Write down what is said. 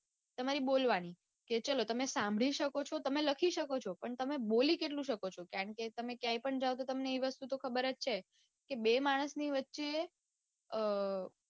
તમારી બોલવાની કે ચાલો તમે સાંભળી શકો છો તમે લખી શકો છો પણ તમે બોલી કેટલું શકો છો કારણકે તમે ક્યાંય પણ જાઓ તો તમને એ વસ્તુ તો ખબર જ છે કે બે માણસ ની વચ્ચે અઅ